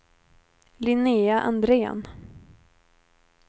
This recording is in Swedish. Linnéa Andrén